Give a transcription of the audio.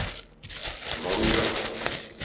Valldal